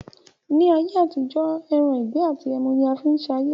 Ni ayé àtijọ́ ẹran ìgbẹ́ àti ẹmu ni a fi ń sayé